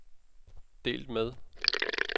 delt med